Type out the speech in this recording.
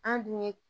An dun ye